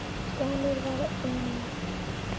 Slæmur var einnig